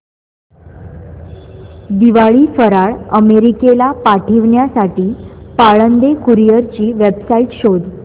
दिवाळी फराळ अमेरिकेला पाठविण्यासाठी पाळंदे कुरिअर ची वेबसाइट शोध